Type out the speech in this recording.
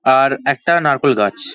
আর একটা নারকোল গাছ।